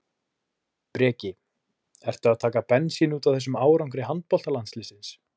Breki: Ertu að taka bensín útaf þessum árangri handboltalandsliðsins?